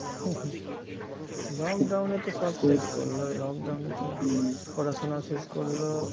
lockdown এ তো সব শেষ করলই lockdown এ তো পড়াশোনা শেষ করল